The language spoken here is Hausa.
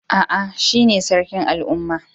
Aa, shine Sarkin al'umman.